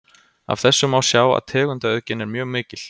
af þessu má sjá að tegundaauðgin er mjög mikil